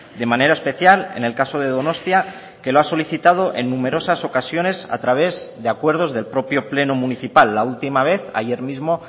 de manera especial en el caso de donostia que lo ha solicitado en numerosas ocasiones a través de acuerdos del propio pleno municipal la última vez ayer mismo